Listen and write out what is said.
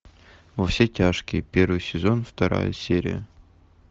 во все тяжкие первый сезон вторая серия